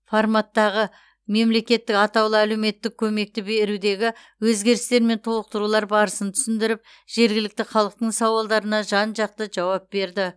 форматтағы мемлекеттік атаулы әлеуметтік көмекті берудегі өзгерістер мен толықтырулар барысын түсіндіріп жергілікті халықтың сауалдарына жан жақты жауап берді